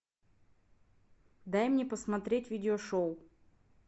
дай мне посмотреть видеошоу